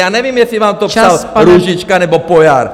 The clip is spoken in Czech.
Já nevím, jestli vám to psal Růžička nebo Pojar.